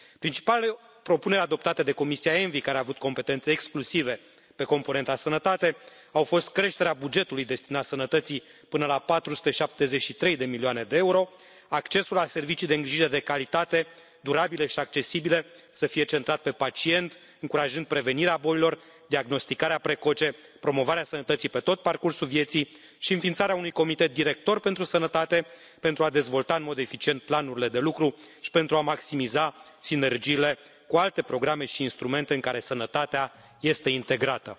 Principalele propuneri adoptate de Comisia ENVI, care a avut competențe exclusive pe componenta sănătate, au fost creșterea bugetului destinat sănătății până la 473 de milioane de euro, accesul la servicii de îngrijire de calitate durabile și accesibile, să fie centrat pe pacient, încurajând prevenirea bolilor, diagnosticarea precoce, promovarea sănătății pe tot parcursul vieții și înființarea unui Comitet director pentru sănătate, pentru a dezvolta în mod eficient planurile de lucru și pentru a maximiza sinergiile cu alte programe și instrumente în care sănătatea este integrată.